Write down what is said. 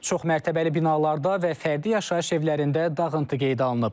Çoxmərtəbəli binalarda və fərdi yaşayış evlərində dağıntı qeydə alınıb.